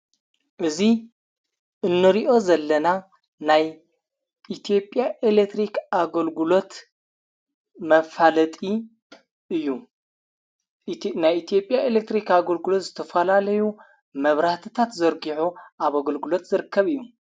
እዙይ እኖርኦ ዘለና ናይ ኢቲያ ኤለክትሪክ ኣገልግሎት መፋለጢ እዩ ናይ ኢትዮጵያ ኤሌክትሪኽ ኣገልግሎት ዝተፈላለዩ መብራህትታት ዘርጊሕ ኣብ ኣገልግሎት ዝርከብ እዩ::